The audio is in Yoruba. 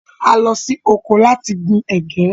A lọ sí oko láti gbìn ègé